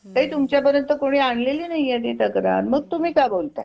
ते तुमच्या पर्यंत कोणी आणलेली नाहीय ती तक्रार मग तुम्ही काय बोलता?